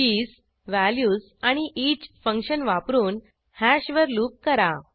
keys values आणि each function वापरून हॅशवर लूप करा